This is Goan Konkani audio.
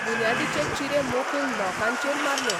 बुन्यादीचे चिरे मोखून लोकांचेर मारले.